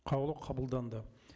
қаулы қабылданды